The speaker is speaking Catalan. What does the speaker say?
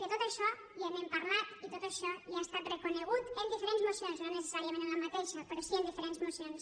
de tot això ja n’hem parlat i tot això ja ha estat reconegut en diferents mocions no necessàriament en la mateixa però sí en diferents mocions